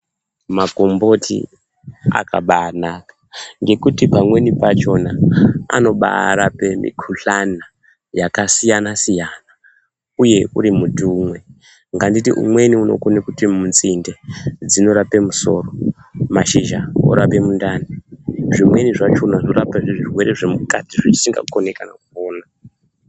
Makomboti akabaanaka anotibatsira kuti tirape mukhuhlani dzakasiyana siyana uri muti umwe sekuti pamuti uwowo nzinde dzinokona kudai dzeirapa mundani nezvimweniwo zvirimukati mwenyama zvetisingakoni kuona.